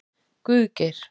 Guðgeir